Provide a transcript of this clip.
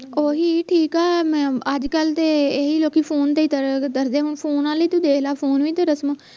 ਓਹੀ ਠੀਕ ਆ ਅੱਜਕਲ ਤੇ ਇਹੀ ਲੋਕੀ ਫੋਨ ਤੇ ਹੀ ਤਾਂ ਫੋਨ ਆਲੇ ਹੀ ਤੂੰ ਦੇਖ ਲਾ ਫੋਨ ਕੋਈ ਰਸਮ